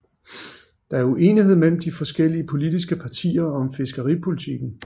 Der er uenighed mellem de forskellige politiske partier om fiskeripolitikken